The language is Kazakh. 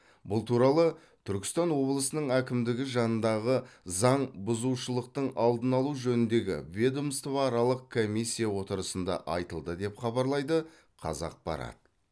бұл туралы түркістан облысының әкімдігі жанындағы заң бұзушылықтың алдын алу жөніндегі ведомствоаралық комиссия отырысында айтылды деп хабарлайды қазақпарат